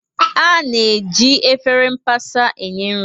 A na-eji efere mbasa enye nri.